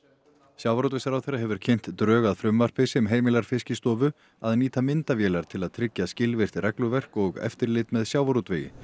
sjávarútvegsráðherra hefur kynnt drög að frumvarpi sem heimilar Fiskistofu að nýta myndavélar til að tryggja skilvirkt regluverk og eftirlit með sjávarútvegi